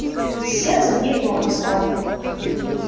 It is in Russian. с сердцем ей плохо стало